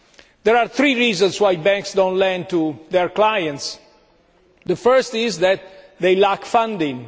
There are reasons why banks do not lend to their clients the first is that they lack funding